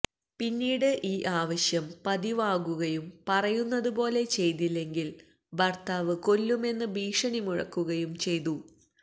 പിന്നീട് ഈ ആവശ്യം പതിവാകുകയും പറയുന്നത് പോലെ ചെയ്തില്ലെങ്കില് ഭര്ത്താവ് കൊല്ലുമെന്ന് ഭീഷണി മുഴക്കുകയും ചെയ്തു